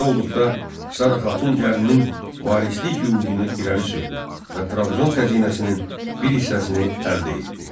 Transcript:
Belə olduqda Sara xatun gəlininin varislik hüququnu irəli sürdü və Trabzon xəzinəsinin bir hissəsini əldə etdi.